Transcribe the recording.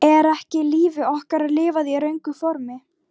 Er ekki lífi okkar lifað í röngu formi?